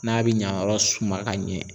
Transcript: N'a be ɲanyɔrɔ suman ka ɲɛ